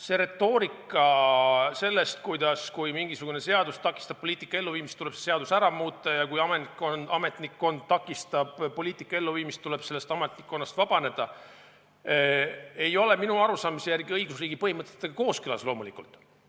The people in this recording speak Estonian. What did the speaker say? See retoorika sellest, kuidas, kui mingisugune seadus takistab poliitika elluviimist, tuleb see seadus ära muuta, ja kui ametnikkond takistab poliitika elluviimist, tuleb sellest ametnikkonnast vabaneda, ei ole minu arusaamise järgi õigusriigi põhimõtetega kooskõlas, loomulikult.